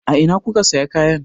A ina kuka sa kayan?